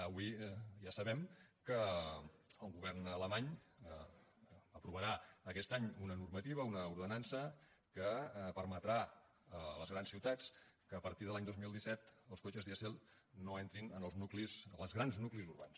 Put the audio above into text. avui ja sabem que el govern alemany aprovarà aquest any una normativa una ordenança que permetrà que a partir de l’any dos mil disset els cotxes dièsel no entrin als grans nuclis urbans